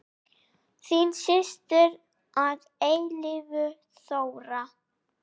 Þín systir að eilífu, Þóra.